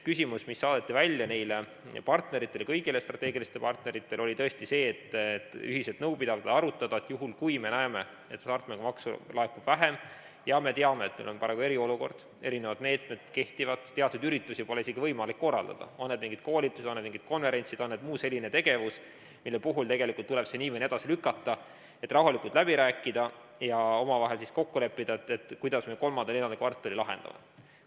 Küsimus, mis saadeti välja neile kõigile strateegilistele partneritele, oli tõesti see, et ühiselt nõu pidada, võib-olla arutada, et juhul, kui me näeme, et hasartmängumaksu laekub vähem – ja me teame, et meil on praegu eriolukord, erinevad meetmed kehtivad, teatud üritusi pole isegi võimalik korraldada, on need mingid koolitused, konverentsid või muu selline tegevus, mis tuleb nii või naa edasi lükata –, siis tuleks rahulikult läbi rääkida ja omavahel kokku leppida, kuidas me kolmanda ja neljanda kvartali mure lahendame.